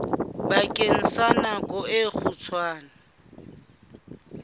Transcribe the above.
bakeng sa nako e kgutshwane